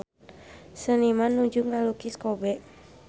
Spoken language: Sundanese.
Seniman nuju ngalukis Kobe